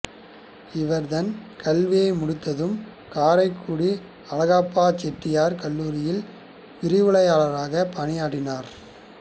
இவர் தன் கல்வியை முடித்ததும் காரைக்குடி அழகப்பச் செட்டியார் கல்லூரியில் விரிவுரையளராகப் பணியற்றினார்